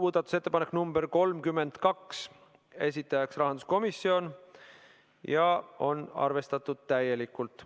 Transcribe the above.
Muudatusettepanek nr 32, esitajaks on rahanduskomisjon ja seda on arvestatud täielikult.